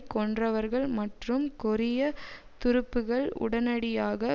கொன்றவர்கள் மற்றும் கொரிய துருப்புக்கள் உடனடியாக